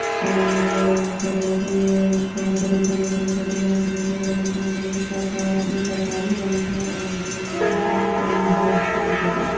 --और क्या बोलते है बोहोत बड़ी बैंक है छोटी नहीं सरकार और ये सरकारी बैंक है बोहोत सही है सभी के लिए--